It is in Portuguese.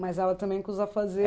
Mas ela também com os